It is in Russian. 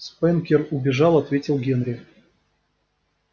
спэнкер убежал ответил генри